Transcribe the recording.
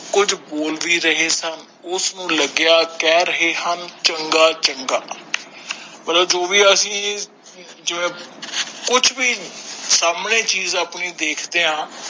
ਕੁਜ ਬੋਲ ਵੀ ਰਹੇ ਸਨ ਉਸ ਨੂੰ ਲਗਆ ਕਹਿ ਰਹੇ ਹਨ ਚੰਗਾ ਚੰਗਾ ਮਤਲਬ ਜੋ ਵੀ ਅਸੀਂ ਜਿਂਵੇ ਕੁਛ ਵੀ ਸਾਮਣੇ ਚੀਜ ਆਪਣੇ ਦੇਖਦੇ ਆ